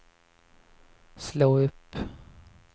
slå upp